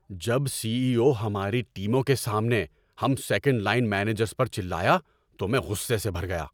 جب C E O ہماری ٹیموں کے سامنے ہم سیکنڈ لائن مینیجرز پر چلایا تو میں غصے سے بھر گیا۔